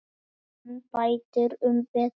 Hann bætir um betur.